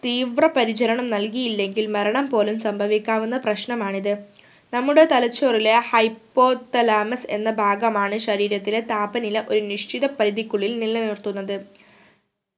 തീവ്ര പരിചരണം നൽകിയില്ലെങ്കിൽ മരണം പോലും സംഭവിക്കാവുന്ന പ്രശ്‌ണമാണിത്. നമ്മുടെ തലച്ചോറിലെ Hypothalamus എന്ന ഭാഗമാണ് ശരീരത്തിലെ താപനില ഒരു നിഷ്‌ചിത പരുതിക്കുള്ളിൽ നിലനിർത്തുന്നത്